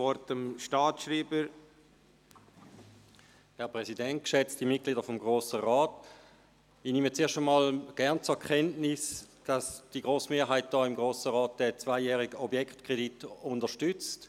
Ich nehme erst einmal gerne zur Kenntnis, dass die grosse Mehrheit des Grossen Rats den zweijährigen Objektkredit unterstützt.